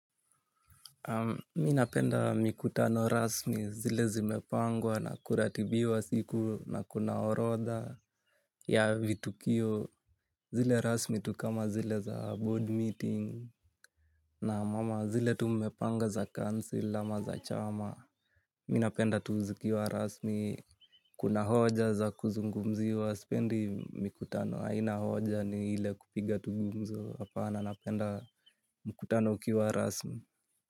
Mimi napenda mikutano rasmi zile zimepangwa na kuratibiwa siku na kunaorodha ya vitukio. Zile rasmi tu kama zile za board meeting na wamama zile tu mmepanga za council ama za chama. Mimi napenda tu zikiwa rasmi kuna hoja za kuzungumziwa sipendi mikutano haina hoja ni ile kupiga tu gumzo. Hapana napenda mikutano ukiwa rasmi.